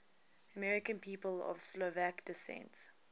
american people of slovak descent